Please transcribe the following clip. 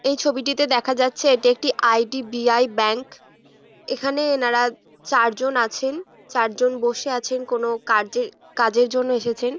এই ছবিটিতে দেখা যাচ্ছে এটি একটি I. D. B. I. Bank এখানে এনারা চারজন আছেন চারজন বসে আছেন কোনো কার্যে কাজের জন্য এসেছেন।